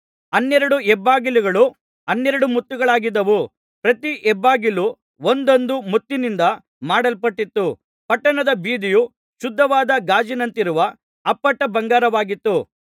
ಹನ್ನೆರಡು ಹೆಬ್ಬಾಗಿಲುಗಳು ಹನ್ನೆರಡು ಮುತ್ತುಗಳಾಗಿದ್ದವು ಪ್ರತಿ ಹೆಬ್ಬಾಗಿಲೂ ಒಂದೊಂದು ಮುತ್ತಿನಿಂದ ಮಾಡಲ್ಪಟ್ಟಿತ್ತು ಪಟ್ಟಣದ ಬೀದಿಯು ಶುದ್ಧವಾದ ಗಾಜಿನಂತಿರುವ ಅಪ್ಪಟ ಬಂಗಾರವಾಗಿತ್ತು